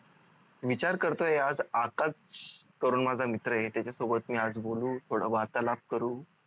विचार करतोय आज आकाश करून माझ्या मित्र आहे त्याचा सोबत मी आज बोलू थोड वार्तालाभ करू